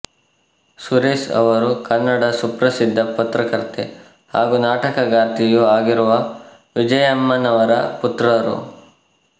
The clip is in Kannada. ಸುರೇಶ ಅವರು ಕನ್ನಡದ ಪ್ರಸಿದ್ಧ ಪತ್ರಕರ್ತೆ ಹಾಗೂ ನಾಟಕಗಾರ್ತಿಯೂ ಆಗಿರುವ ವಿಜಯಮ್ಮನವರ ಪುತ್ರರು